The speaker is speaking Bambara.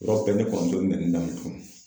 Yɔrɔ bɛɛ ne kɔrɔmuso ye n nɛninin daminɛ kunun.